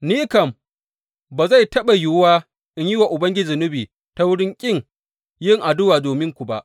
Ni kam ba zai taɓa yiwu in yi wa Ubangiji zunubi ta wurin ƙin yin addu’a dominku ba.